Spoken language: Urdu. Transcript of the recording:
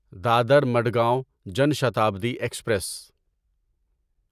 دادر مڑگاؤں جان شتابدی ایکسپریس